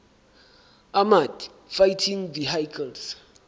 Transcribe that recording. armoured fighting vehicles